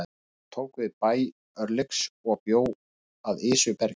Hún tók við bæ Örlygs og bjó að Esjubergi.